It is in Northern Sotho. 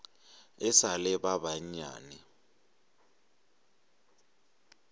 e sa le ba banyane